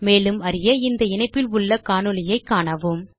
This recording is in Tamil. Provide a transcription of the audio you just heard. மேலும் அறிய இந்த இணைப்பில் உள்ள காணொளியைக் காணவும்